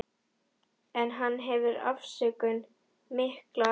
En hann hefur afsökun, mikla afsökun.